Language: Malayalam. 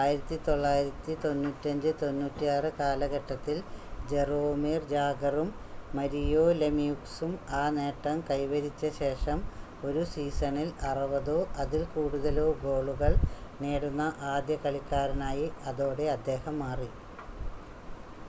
1995-96 കാലഘട്ടത്തിൽ ജറോമിർ ജാഗറും മരിയോ ലെമ്യൂക്സും ആ നേട്ടം കൈവരിച്ച ശേഷം ഒരു സീസണിൽ 60-ഓ അതിൽ കൂടുതലോ ഗോളുകൾ നേടുന്ന ആദ്യ കളിക്കാരനായി അതോടെ അദ്ദേഹം മാറി